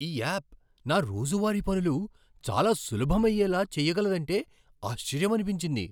ఈ యాప్ నా రోజువారీ పనులు చాలా సులభమయ్యేలా చేయగలదంటే ఆశ్చర్యమనిపించింది.